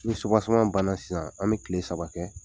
Ni subaseman bana sisan an bɛ tile saba kɛ